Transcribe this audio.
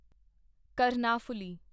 Karnaphuli